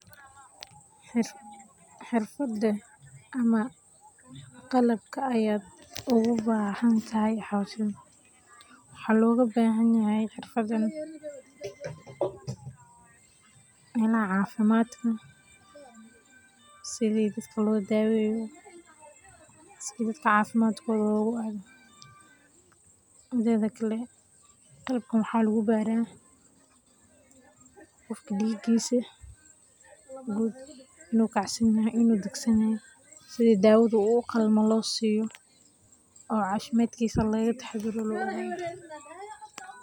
Xirfadan ama qalabkan ogabahantahay waxa logabahanyahay xirfadan melaha cafimadka sidii dadka lodaweyo sida dadka cafimadkoda loogado, midakale qalabkan waxa lugubara qofka cafimadkisa guud inu kacsanyahay in uu daganyahy sidii uu uqalmo losiyo oo cafimadkisa logataxadaro.